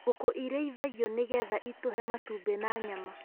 Ngũkũ irĩithagio nĩ getha itũhe matumbĩ na nyama.